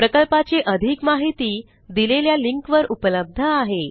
प्रकल्पाची अधिक माहिती दिलेल्या लिंकवर उपलब्ध आहे